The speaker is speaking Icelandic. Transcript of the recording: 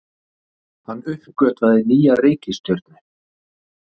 Hann uppgötvaði nýja reikistjörnu!